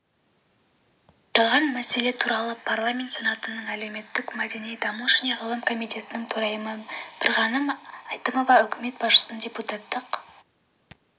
аталған мәселе туралы парламент сенатының әлеуметтік-мәдени даму және ғылым комитетінің төрайымы бірғаным әйтімова үкімет басшысына депутаттық